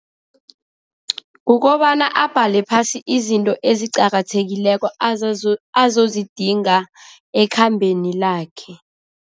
Kukobana abhale phasi izinto eziqakathekileko azozidinga ekhambeni lakhe.